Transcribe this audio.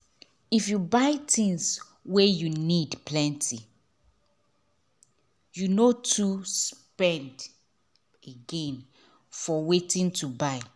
if you buy things wey you need plenty you no too spend again for wetin to buy